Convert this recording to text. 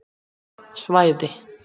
Svæði